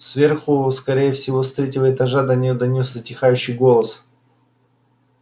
сверху скорее всего с третьего этажа до него донёсся затихающий голос